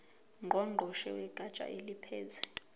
ngqongqoshe wegatsha eliphethe